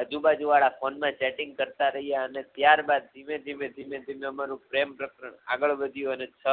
આજુબાજુવાળા phone મા chating કરતાં રહ્યા અને ત્યારબાદ ધીમેધીમે ધીમે ધીમે આમારુ પ્રેમ પ્રકરણ આગળ વધ્યું અને છ